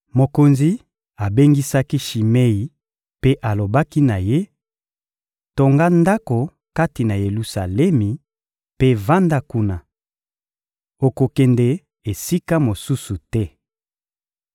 Mokonzi abengisaki Shimei mpe alobaki na ye: — Tonga ndako kati na Yelusalemi mpe vanda kuna. Okokende esika mosusu te.